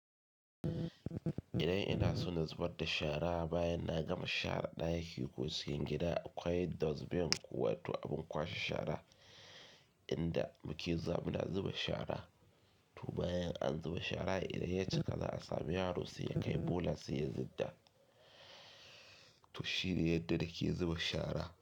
Idan ina so na zubar da shara bayan na gama sharar ɗaki ko cikin gida akwai dustbin ko wato abin kwashe shara inda muke zuwa muna zuba shara. To bayan an zuba shara idan ya cika za a sami yaro sai ya kai bola sai ya zudda. To shine yadda nake zuba shara.